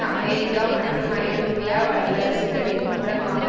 America மற்றும் ஐரோப்பிய வல்லரசுகளின் மூலமாக